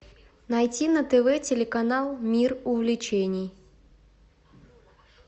найти на тв телеканал мир увлечений